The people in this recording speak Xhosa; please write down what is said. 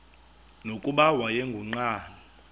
nokuba wayengu nqal